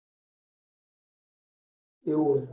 એવું હે.